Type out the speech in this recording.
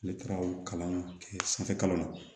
Ne taara o kalan kɛ sanfɛ kalan la